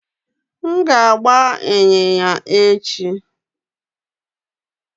M ga-agba ịnyịnya n'echi